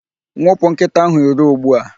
Nwụpụ nkịta ahụ iro ugbu a!